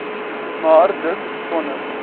maar dis sonder